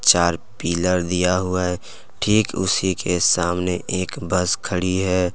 चार पिलर दिया हुआ है ठीक उसी के सामने एक बस खड़ी है।